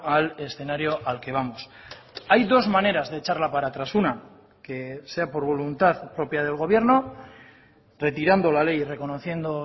al escenario al que vamos hay dos maneras de echarla para atrás una que sea por voluntad propia del gobierno retirando la ley y reconociendo